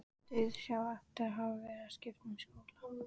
Dauðsá eftir að hafa verið að skipta um skóla.